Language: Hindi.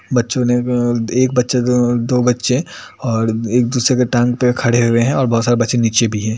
बच्चो ने अह एक बच्चे अह दो बच्चे और एक दूसरे की टांग पे खड़े हुए हैं और बहुत सारे बच्चे नीचे भी हैं ।